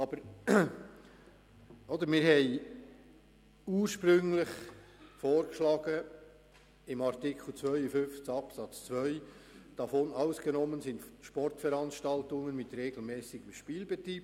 Aber wir haben ursprünglich im Artikel 52 Absatz 2 Folgendes vorgeschlagen: «Davon ausgenommen sind Sportveranstaltungen mit regelmässigem Spielbetrieb.